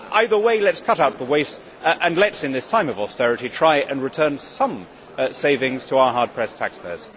Either way, let us cut out the waste and let us, in this time of austerity, try and return some savings to our hard pressed taxpayers.